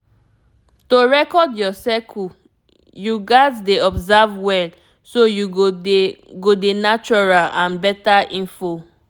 to record your cycle yoats dey observe well so you go dey go dey natural and better info